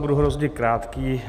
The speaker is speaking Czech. Budu hrozně krátký.